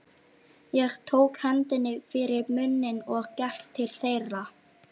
Ég tók hendinni fyrir munninn og gekk til þeirra.